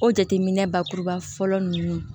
O jateminɛ bakuruba fɔlɔ ninnu